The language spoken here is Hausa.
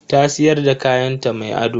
Ta siyar da kayanta mai ado.